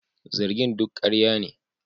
Zargin duk karya ne